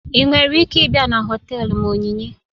Ị nwere ike ịbịa na họtelu m Onyinye?